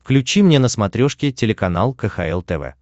включи мне на смотрешке телеканал кхл тв